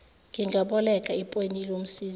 ngingaboleka ipeni lomsizi